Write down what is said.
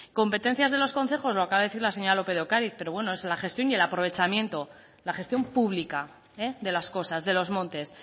competencias de los concejos lo acaba de decir la señora lópez de ocáriz pero bueno es la gestión y el aprovechamiento la gestión pública de las cosas de los montes